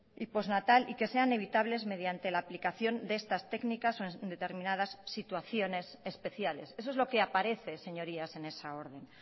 y postnatal y que sean evitables mediante la aplicación de estas técnicas en determinadas situaciones especiales eso es lo que aparece señorías en esa orden